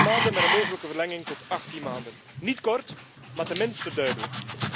Twaalf maanden met een mogelijke verlenging tot achttien maanden niet kort, maar tenminste duidelijk.